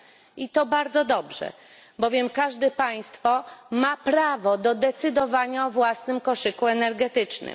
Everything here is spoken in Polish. i to bardzo dobrze, bowiem każde państwo ma prawo do decydowania o własnym koszyku energetycznym.